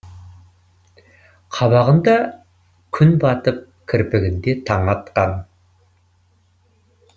қабағында күн батып кірпігінде таң атқан